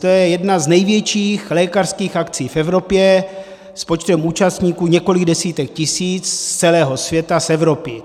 To je jedna z největších lékařských akcí v Evropě s počtem účastníků několik desítek tisíc z celého světa, z Evropy.